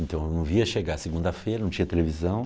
Então eu não via chegar segunda-feira, não tinha televisão.